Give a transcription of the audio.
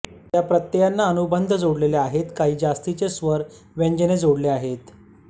या प्रत्ययांना अनुबंध जोडलेले आहेत काही जास्तीचे स्वर व्यजने जोडली आहेत